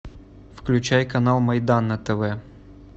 включай канал майдан на тв